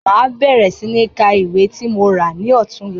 Má bẹ̀rẹ̀ sí ní ká ìwé tí mo rà ní ọ̀túnla.